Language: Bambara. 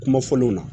Kuma fɔlenw na